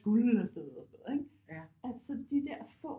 Afsted og sådan noget ikke at så de der få